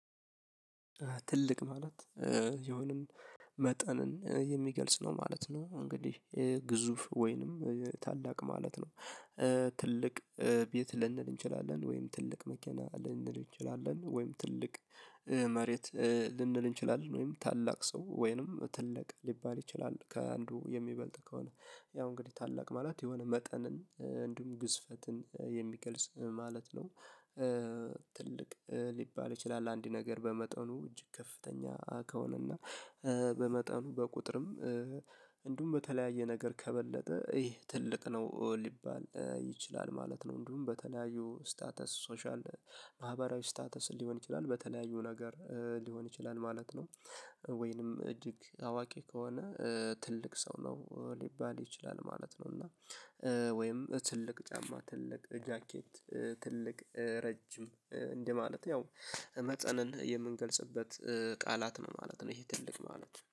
ትልቅ ማለት የሆነን መጠንን የሚገልጽ ነው ማለት ነው እንግዲህ ግዙፍ ወይንም ታላቅ ማለት ነው። ትልቅ ቤት ልንል እንችላለን ወይም ትልቅ መኪና ልንል እንችላለን ወይም ትልቅ መሬት ልንል እንችላለን ወይም ታላቅ ሰው ወይንም ትልቅ ሊባል ይችላል ከአንዱ የሚበልጥ ከሆነ ያው እንግዲህ ታላቅ ማለት የሆነ መጠንን እንዲሁም ግዝፈትን የሚገልጽ ማለት ነው። ትልቅ ሊባል ይችላል አንድ ነገር በመጠኑ እጅግ ከፍተኛ ከሆነና በመጠኑ በቁጥርም እንዲሁም በተለያየ ነገር ከበለጠ ይሄ ትልቅ ነው ሊባል ይችላል ማለት ነው። እንዲሁም በተለያዩ ስታተስ ሶሻል ማህበራዊ ስታተስ ሊሆን ይችላል በተለያዩ ነገር ሊሆን ይችላል ማለት ነው። ወይንም እጅግ አዋቂ ከሆነ ትልቅ ሰው ነው ሊባል ይችላል ማለት ነው። እና ወይም ትልቅ ጫማ ትልቅ ጃኬት ትልቅ ረጅም እንደማለት ያው መጠንን የምንገልጽበት ቃላት ነው ማለት ነው። ይሄ ትልቅ ማለት